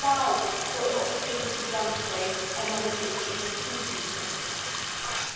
They allow for a lot of things to be done today, and Member States should make full use of them.